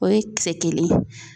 O ye kisɛ kelen ye.